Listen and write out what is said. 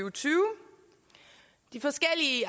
og tyve de forskellige